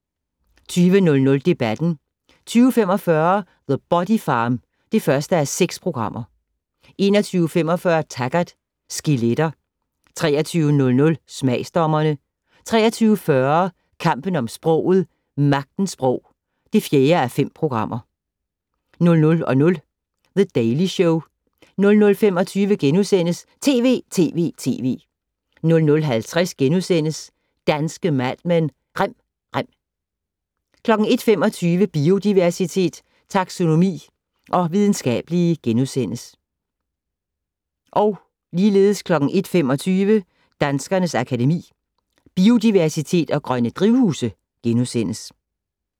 20:00: Debatten 20:45: The Body Farm (1:6) 21:45: Taggart: Skeletter 23:00: Smagsdommerne 23:40: Kampen om sproget - Magtens sprog (4:5) 00:00: The Daily Show 00:25: TV!TV!TV! * 00:50: Danske Mad Men: Rem rem * 01:25: Biodiversitet, taxonomi og videnskabelige * 01:25: Danskernes Akademi: Biodiversitet & Grønne drivhuse *